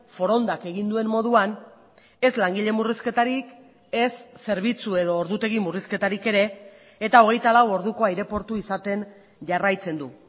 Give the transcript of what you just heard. forondak egin duen moduan ez langile murrizketarik ez zerbitzu edo ordutegi murrizketarik ere eta hogeita lau orduko aireportu izaten jarraitzen du